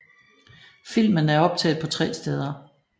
Filmen er optaget på tre steder